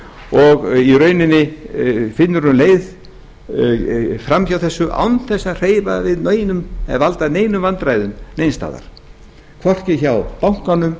og í rauninni finnur hún leið fram hjá þessu án þess að hreyfa við neinum eða valda neinum vandræðum neins staðar hvorki hjá bankanum